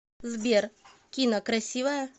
сбер кина красивая